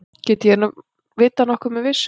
Get ég vitað nokkuð með vissu?